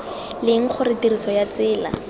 leng gore tiriso ya tsela